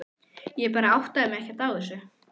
Ég bara áttaði mig ekkert á þessu.